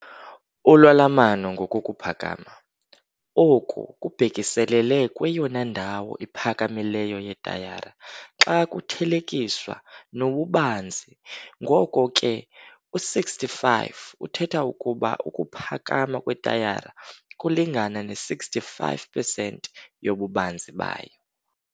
Ulwalamano ngokokuphakama - oku kubhekiselele kweyona ndawo iphakamileyo yetayara xa kuthelekiswa nobubanzi ngoko ke u-65 uthetha ukuba ukuphakama kwetayara kulingana ne-65 percent yobubanzi bayo.